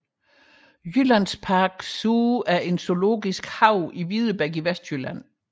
Jyllands Park Zoo er en zoologisk have i Videbæk i Vestjylland